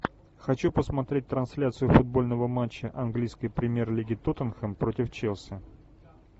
хочу посмотреть трансляцию футбольного матча английской премьер лиги тоттенхэм против челси